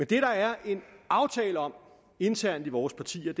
det der er en aftale om internt i vores partier